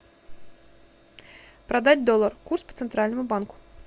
продать доллар курс по центральному банку